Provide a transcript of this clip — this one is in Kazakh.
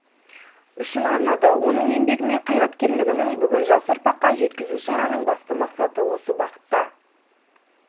үшін арнады оның еңбегі мен қайраткерлігін бүгін жас ұрпаққа жеткізу шараның басты мақсаты осы бағытта